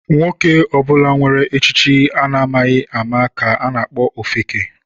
Nwoke ọbụla nwere echiche a na-amaghị ama ka a na-akpọ ofeke.